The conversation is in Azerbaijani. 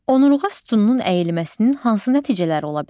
Onurğa sütununun əyilməsinin hansı nəticələri ola bilər?